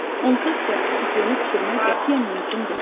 Onsuz da sufle bişirmək qətiyyən mümkün deyil.